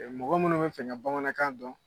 Mɔgɔ munnu bɛ fɛ ka bamanankan dɔn.